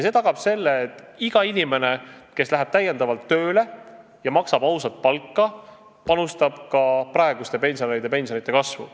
See tagab, et iga inimene, kes täiendavalt tööle läheb ja kellele makstakse ausat palka, panustab ka praeguste pensionäride pensionide kasvu.